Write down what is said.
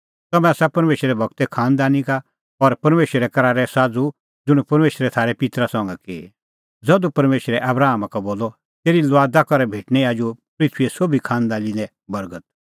तम्हैं आसा परमेशरे गूरे खांनदानी का और परमेशरे करारे साझ़ू ज़ुंण परमेशरै थारै पित्तरा संघा की ज़धू परमेशरै आबरामा का बोलअ तेरी लुआदा करै भेटणीं आजू पृथूईए सोभी खांनदानी लै बर्गत